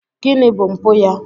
Gịnị bụ mpụ ya?